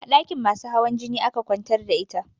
A ɗakin masu hawan jini aka kwantar da ita